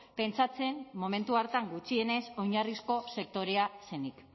pentsatzen momentu hartan gutxienez oinarrizko sektorea zenik